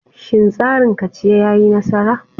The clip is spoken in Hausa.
Shin tsarin kaciya ya yi nasara?